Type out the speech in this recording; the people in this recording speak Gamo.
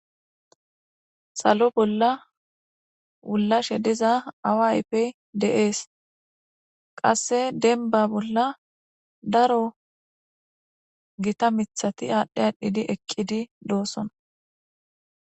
salo bolla wullashe diza awa aype de'ees qasse denba bolla daro gita mithati aadhdhi aadhdhidi eqqidi doosona